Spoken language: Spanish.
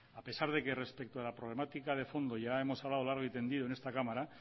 a pesar de que respecto a la problemática de fondo ya hemos hablado largo y tendido en esta cámara